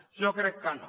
jo crec que no